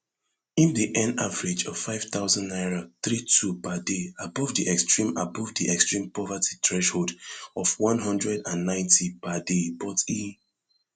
im dey earn average of five thousand naira three two per day abovedi extreme abovedi extreme poverty threshold of one hundred and ninety per daybut e